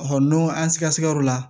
n'o an sikasɛgɛyɔrɔ la